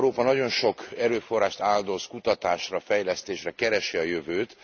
Európa nagyon sok erőforrást áldoz kutatásra, fejlesztésre, keresi a jövőt.